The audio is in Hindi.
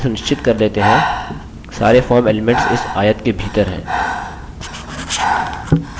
चलिए सुनिश्चित कर lets हैं सारे form elements इस आयत के भीतर हैं